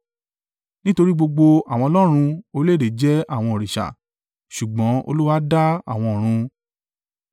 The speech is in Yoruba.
Nítorí gbogbo àwọn ọlọ́run orílẹ̀-èdè jẹ́ àwọn òrìṣà, ṣùgbọ́n Olúwa dá àwọn ọ̀run.